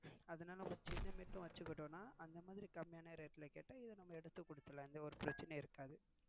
அதுனால நம்ம சின்ன mat யும் வச்சிக்கிட்டோம்னா அந்த மாதிரி கம்மீயான rate ல கேட்டா இது நம்ம எடுத்து குடுத்திரலாம் எந்த ஒரு பிரச்னையும் இருக்காது.